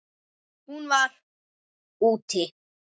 Hún var: úti.